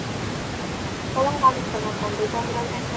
Kolang kaling kena kanggo campuran ès teler